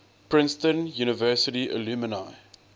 princeton university alumni